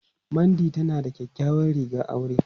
Mandy tana da kyakkyawar rigar aure.